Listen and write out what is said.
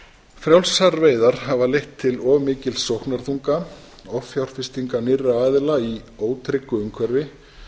frjálsar veiðar hafa leitt til of mikils sóknarþunga offjárfestinga nýrra aðila í ótryggu umhverfi